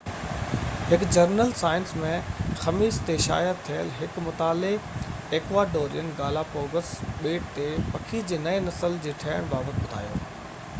هڪ journal Science ۾ خميس تي شايع ٿيل هڪ مطالعي ايڪواڊورين گالاپگوس ٻيٽ تي پکي جي نئين نسلن جي ٺهڻ بابت ٻڌايو